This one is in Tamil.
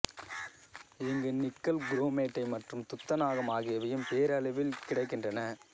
இங்கு நிக்கல் குறோமைட்டு மற்றும் துத்தநாகம் ஆகியவையும் பேரளவில் கிடைக்கின்றன